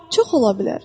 Çox ola bilər.